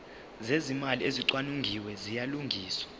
zezimali ezicwaningiwe ziyalungiswa